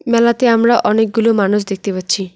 মেলাতে আমরা অনেকগুলো মানুষ দেখতে পাচ্ছি।